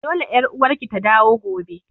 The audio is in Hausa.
Dole ƴar uwarki ta dawo gobe!